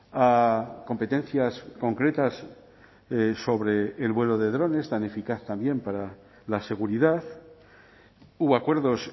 a competencias concretas sobre el vuelo de drones tan eficaz también para la seguridad hubo acuerdos